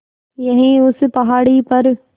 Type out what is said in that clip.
यहीं उस पहाड़ी पर